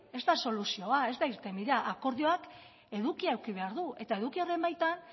ez da soluzioa ez da irtenbidea akordioak edukia eduki behar du eta eduki horren baitan